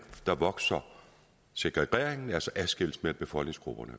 vokser segregeringen altså adskillelsen af befolkningsgrupperne